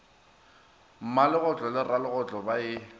mmalegotlo le ralegotlo ba e